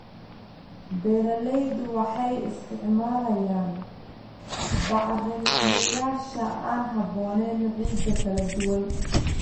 Beeraleydu waxay isticmaalayaan bacrimiyeyaasha aan habboonayn ciidda kala duwan.